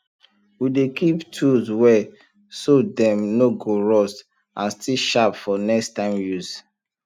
we dey keep tools well so dem no go rust and still sharp for next time use